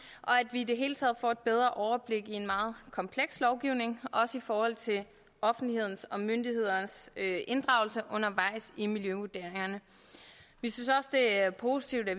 i det hele taget får et bedre overblik i en meget kompleks lovgivning også i forhold til offentlighedens og myndighedernes inddragelse undervejs i miljøvurderingerne vi synes også det er positivt at